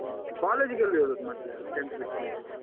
ಮತ್ತೆ college ಗೆಲ್ಲಿ ಹೋದದ್ದು ಮತ್ತೆ tenth ಬಿಟ್ಮೇಲೆ?